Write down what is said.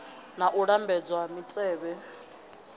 na u lambedzwa ha mitevhe